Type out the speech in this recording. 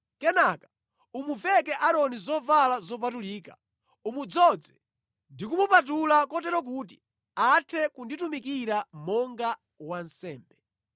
Kenaka umuveke Aaroni zovala zopatulika, umudzoze ndi kumupatula kotero kuti athe kunditumikira monga wansembe.